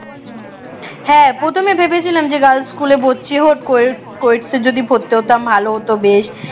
হ্যাঁ প্রথমে ভেবেছিলাম যে girls স্কুলে পড়ছি co~ coed এ ভর্তি হতাম ভালো হত বেশ